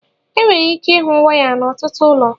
enwere ike ịhụ waya n'ọtụtụ ụlọ